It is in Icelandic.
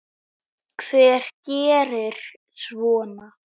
Hver gerir svona?